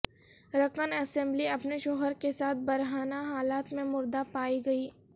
رکن اسمبلی اپنے شوہر کے ساتھ برہنہ حالت میں مردہ پائی گئیں